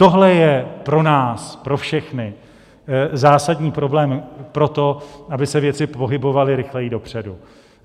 Tohle je pro nás po všechny zásadní problém pro to, aby se věci pohybovaly rychleji dopředu.